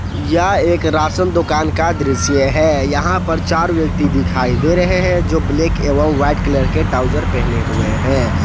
यह एक राशन दुकान का दृश्य है यहां पर चार व्यक्ति दिखाई दे रहे हैं जो ब्लैक एवं व्हाइट कलर के ट्राउजर पहने हुए हैं।